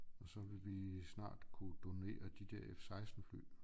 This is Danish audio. Og så vil vi snart kunne donere de der F16 fly